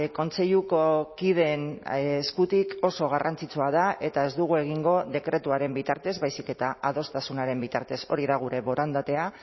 kontseiluko kideen eskutik oso garrantzitsua da eta ez dugu egingo dekretuaren bitartez baizik eta adostasunaren bitartez hori da gure borondatea